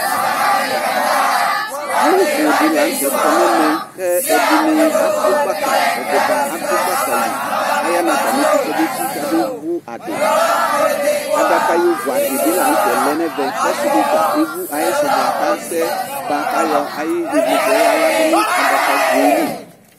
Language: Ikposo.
Alʋbʋ dini lanʋ te kɔ nʋ ɛmɛ kʋ adʋ gbakali kʋ aya nʋ atali iti komesi nʋ kale vʋ adi adaka yovʋ adɩ la lɛnʋ ɛmɛ kʋ ɔsidi ta evʋ ayisʋbʋa kʋ asɛɣa kʋ ayɔ ayu ivli yaladʋ nʋ adaka goeli